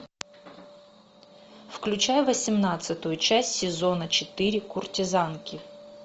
включай восемнадцатую часть сезона четыре куртизанки